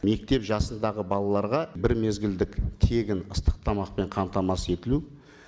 мектеп жасындағы балаларға бір мезгілдік тегін ыстық тамақпен қамтамасыз етілу